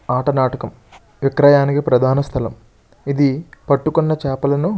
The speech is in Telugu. ఆట నాటకం విక్రయానికి ప్రధాన స్థలం. ఇది పట్టుకుని చేపలను --